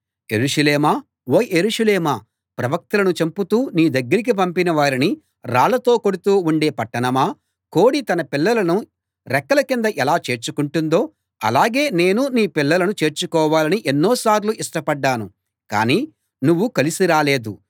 యెరూషలేమా ఓ యెరూషలేమా ప్రవక్తలను చంపుతూ నీ దగ్గరికి పంపిన వారిని రాళ్ళతో కొడుతూ ఉండే పట్టణమా కోడి తన పిల్లలను రెక్కల కింద ఎలా చేర్చుకుంటుందో ఆలాగే నేను నీ పిల్లలను చేర్చుకోవాలని ఎన్నోసార్లు ఇష్టపడ్డాను కాని నువ్వు కలిసి రాలేదు